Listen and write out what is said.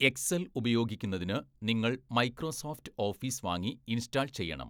Excel ഉപയോഗിക്കുന്നതിന് നിങ്ങൾ Microsoft Office വാങ്ങി ഇൻസ്റ്റാൾ ചെയ്യണം.